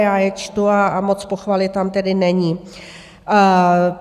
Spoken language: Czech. Já je čtu a moc pochvaly tam tedy není.